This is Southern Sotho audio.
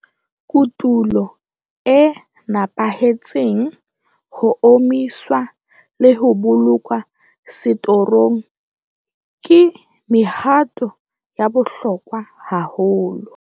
Kotulo e nepahetseng, ho omiswa le ho bolokwa setorong ke mehato ya bohlokwa haholo.